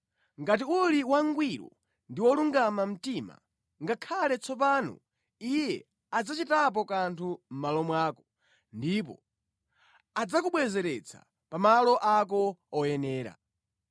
ngati uli wangwiro ndi wolungama mtima ngakhale tsopano Iye adzachitapo kanthu mʼmalo mwako ndipo adzakubwezeretsa pa malo ako oyenera.